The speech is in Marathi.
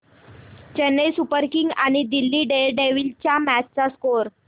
चेन्नई सुपर किंग्स आणि दिल्ली डेअरडेव्हील्स च्या मॅच चा स्कोअर